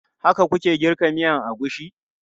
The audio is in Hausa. Haka ku ke girka miyan agushi?